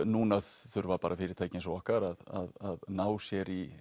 núna þurfa fyrirtæki eins og okkar að ná sér í